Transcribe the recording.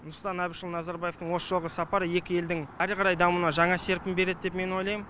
нұрсұлтан әбішұлы назарбаетың осы жолғы сапары екі елдің әрі қарай дамуына жаңа серпін береді деп мен ойлайм